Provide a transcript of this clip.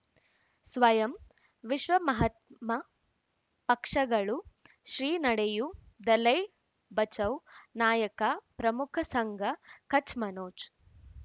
ಸ್ವಯಂ ವಿಶ್ವ ಮಹಾತ್ಮ ಪಕ್ಷಗಳು ಶ್ರೀ ನಡೆಯೂ ದಲೈ ಬಚೌ ನಾಯಕ ಪ್ರಮುಖ ಸಂಘ ಕಚ್ ಮನೋಜ್